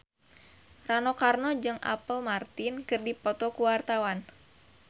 Rano Karno jeung Apple Martin keur dipoto ku wartawan